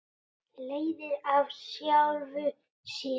Leiðir af sjálfu sér!